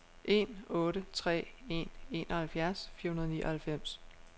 en otte tre en enoghalvfjerds fire hundrede og nioghalvfems